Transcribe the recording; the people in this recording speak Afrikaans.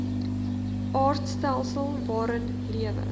aardstelsel waarin lewe